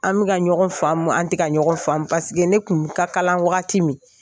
An bɛka ka faamu an tƐ ka ɲɔgɔn faamu ne tun ka kalan wagati min,